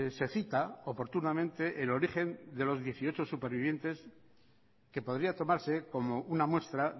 se cita oportunamente el origen de los dieciocho supervivientes que podría tomarse como una muestra